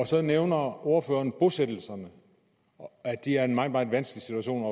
så nævner ordføreren bosættelserne og at det er en meget meget vanskelig situation